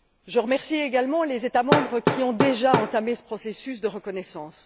Je remercie également les États membres qui ont déjà entamé ce processus de reconnaissance.